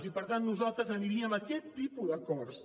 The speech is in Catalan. i per tant nosaltres aniríem a aquest tipus d’acords